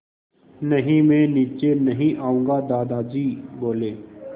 नहीं मैं नीचे नहीं आऊँगा दादाजी बोले